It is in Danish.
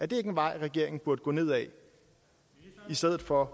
det ikke en vej regeringen burde gå ned ad i stedet for